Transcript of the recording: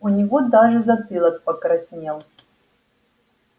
у него даже затылок покраснел